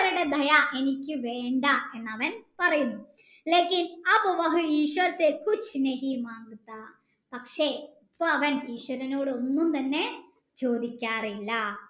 മറ്റുള്ളവരുടെ ദയ എനിക്ക് വേണ്ട എന്നവൻ പറയുന്നു പക്ഷെ ഇപ്പൊ അവൻ ഈശ്വരനോട് ഒന്നും തന്നെ ചോദിക്കാറില്ല